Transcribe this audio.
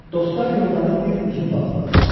Dostlar yollarını bir üzüm bağından saldılar.